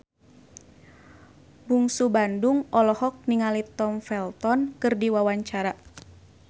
Bungsu Bandung olohok ningali Tom Felton keur diwawancara